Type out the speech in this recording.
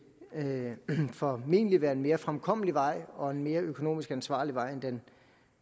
formentlig være en mere fremkommelig vej og en mere økonomisk ansvarlig vej end